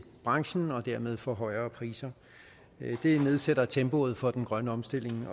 branchen og dermed får højere priser det nedsætter tempoet for den grønne omstilling